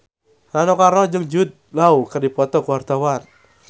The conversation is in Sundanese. Rano Karno jeung Jude Law keur dipoto ku wartawan